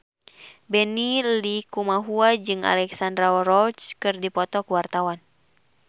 Benny Likumahua jeung Alexandra Roach keur dipoto ku wartawan